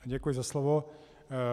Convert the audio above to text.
Děkuji za slovo.